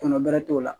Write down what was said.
Kɔnɔ bɛrɛ t'o la